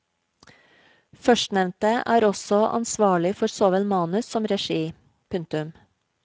Førstnevnte er også ansvarlig for såvel manus som regi. punktum